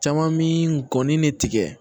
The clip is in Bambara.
Caman mi gɔni de tigɛ